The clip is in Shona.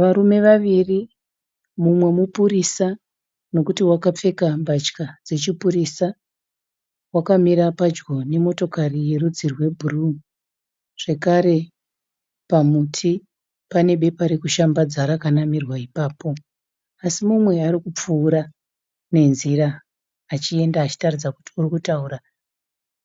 Varume vaviri. Mumwe mupurisa nekuti wakapfeka mbatya dzechipurisa. Wakamira padyo nemotokari yerudzi rwebhuruu zvekare pamuti pane bepa rekushambadza rakanamirwa ipapo asi mumwe ari kupfuura nenzira achienda achitaridza kuti urikutaura